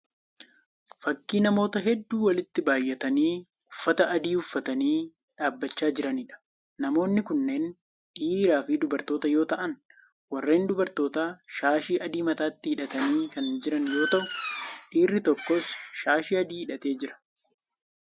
Fakkii namoota hedduu walitti baayyatanii uffata adii uffatanii dhaabbachaa jiraniidha. Namoonni kunneen dhiiraa fi dubartoota yoo ta'aan warreen dubartootaa shaashii adii mataatti hidhatanii kan jiran yoo ta'u dhiirri tokkos shaashii adii hidhatee jira.